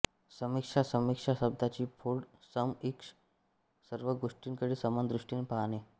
समीक्षा समीक्षा शब्दाची फोड सम ईक्ष सर्व गोष्टींकडे समान दृष्टीने पाहणे